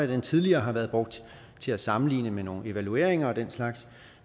den tidligere har været brugt til at sammenligne med nogle evalueringer og den slags